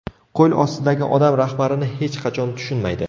Qo‘l ostidagi odam rahbarini hech qachon tushunmaydi.